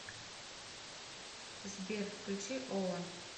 сбер включи ола